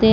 ਤੇ